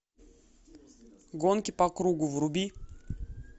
гонки по кругу вруби